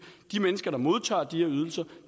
at de mennesker der modtager de her ydelser